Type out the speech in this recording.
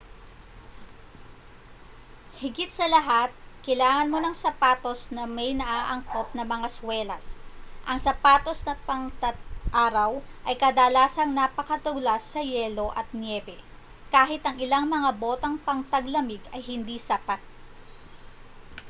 higit sa lahat kailangan mo ng sapatos na may naaangkop na mga swelas ang sapatos na pangtag-araw ay kadalasang napakadulas sa yelo at nyebe kahit ang ilang mga botang pangtaglamig ay hindi sapat